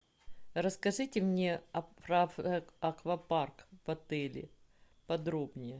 расскажите мне про аквапарк в отеле подробнее